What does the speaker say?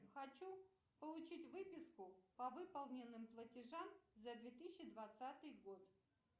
хочу получить выписку по выполненным платежам за две тысячи двадцатый год